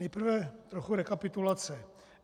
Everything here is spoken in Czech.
Nejprve trochu rekapitulace.